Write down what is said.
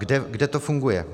Kde to funguje?